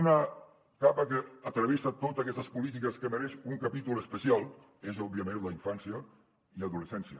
una capa que travessa totes aquestes polítiques que mereix un capítol especial és òbviament la infància i adolescència